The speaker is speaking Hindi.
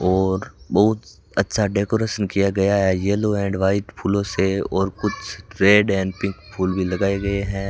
और बहुत अच्छा डेकोरेट किया गया है येलो एंड व्हाइट फूलों से और कुछ रेड एंड पिंक फुल भी लगाए गए हैं।